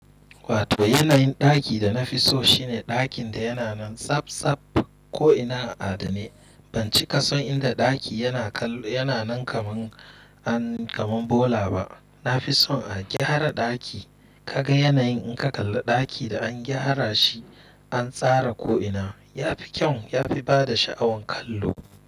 Wato yanayin ɗaki da na fi so shine ɗakin da yana nan tsaf tsaf ko'ina adane. Ban cika son inda ɗaki yana kallo, yana nan kaman, an, kaman bola ba. Na fi son a gyara ɗaki ka ga yanayin in ka kalla ɗaki da an gyara shi an tsara ko'ina. Ya fi kyau, ya fi bada sha'awan kallo.